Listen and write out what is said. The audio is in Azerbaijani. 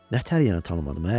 Nə tər yəni tanımadım hə?